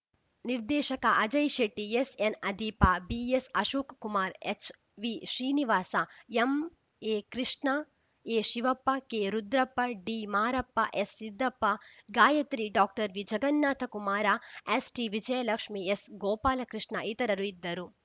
ನಿರ್ದೇಶಕ ಅಜಯಶೆಟ್ಟಿ ಎಸ್‌ಎನ್‌ಅದೀಪ ಬಿಎಸ್‌ಅಶೋಕ್ Kumara ಎಚ್‌ವಿಶ್ರೀನಿವಾಸ ಎಂಎಕೃಷ್ಣ ಎಶಿವಪ್ಪ ಕೆರುದ್ರಪ್ಪ ಡಿಮಾರಪ್ಪ ಎಸ್‌ಸಿದ್ದಪ್ಪ Gayatri doctor ವಿಜಗನ್ನಾಥ Kumara ಎಚ್‌ಟಿವಿಜಯಲಕ್ಷ್ಮೀ S Gopalakrishna ಇತರರು ಇದ್ದರು